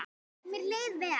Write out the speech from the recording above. Mér leið vel.